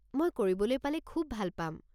মই কৰিবলৈ পালে খুব ভাল পাম।